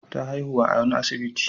Ta haihu a wani asibiti.